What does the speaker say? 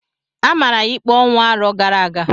A mara ya ikpe ọnwụ arọ gara aga.